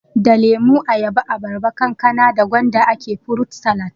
Da lemo, ayaba, abarba, kankana da gwanda ake furut salat